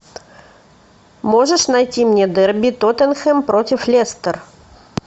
можешь найти мне дерби тоттенхэм против лестер